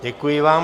Děkuji vám.